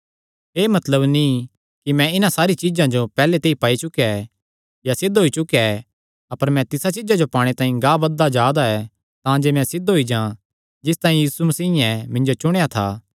एह़ मतलब नीं कि मैं इन्हां सारी चीज्जां जो पैहल्ले ते पाई चुकेया ऐ या सिद्ध होई चुकेया ऐ अपर मैं तिसा चीज्जा जो पाणे तांई गांह बधदा जा दा ऐ तांजे मैं सिद्ध होई जां जिस तांई यीशु मसीयें मिन्जो चुणेया था